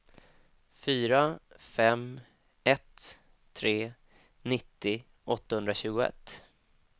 fyra fem ett tre nittio åttahundratjugoett